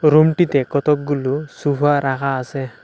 রুমটিতে কতগুলো সোফা রাখা আছে।